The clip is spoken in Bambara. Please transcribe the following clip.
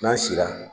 N'an sera